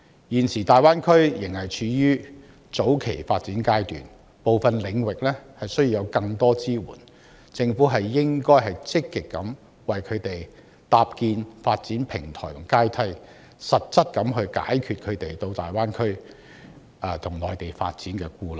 現時大灣區仍處於早期發展階段，部分領域需要有更多支援，政府應該積極為他們搭建發展平台和階梯，實質地解除他們到大灣區和內地發展的顧慮。